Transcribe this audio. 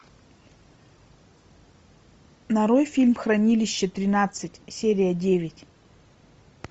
нарой фильм хранилище тринадцать серия девять